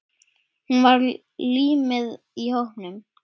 Hún var límið í hópnum.